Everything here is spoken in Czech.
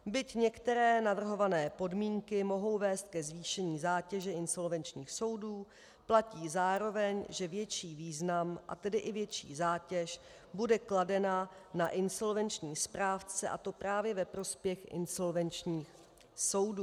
Byť některé navrhované podmínky mohou vést ke zvýšení zátěže insolvenčních soudů, platí zároveň, že větší význam, a tedy i větší zátěž bude kladena na insolvenční správce, a to právě ve prospěch insolvenčních soudů.